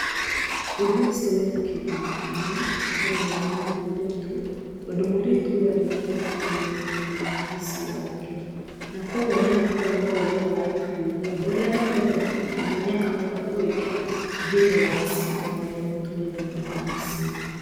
Ũndũ ũci ũcio wĩnakĩguni kĩnene harĩ mwana wa mwĩirĩtu tondũ mwĩirĩtu ũyũ arĩkia thukuru nĩakambĩrĩria mũciĩ wake na kuogwo nĩagakorwo na ũgĩ wa ũtuĩria ũrĩa athomete mabuku-inĩ nĩakahota kũwĩkĩra thĩiniĩ wa ciĩko arĩta mũtumia thĩiniĩ wa mũciĩ.